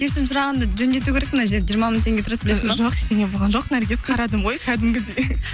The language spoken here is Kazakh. кешірім сұрағанда жөндету керек мына жерді жиырма мың теңге тұрады білесің бе жоқ ештеңе болған жоқ наргиз қарадым ғой кәдімгідей